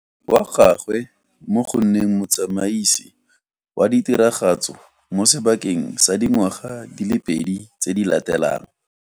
Wa gagwe mo go nneng motsamaisi wa ditiragatso mo sebakeng sa dingwaga di le pedi tse di latelang.